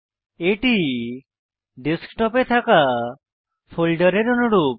এটি ডেস্কটপ এ থাকা ফোল্ডারের অনুরূপ